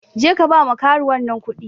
Jeka ba ma karuwan nan kuɗi.